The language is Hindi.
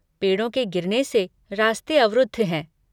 पेड़ों के गिरने से रास्ते अवरुद्ध है।